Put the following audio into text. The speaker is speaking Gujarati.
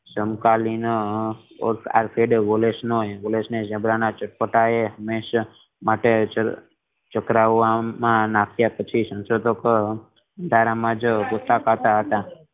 ઝીબ્રા ના ચટપટા એ હંમેશા માટે ચકરાવામાં નાખીયા પછી સંશોધકો અંધારા માં જ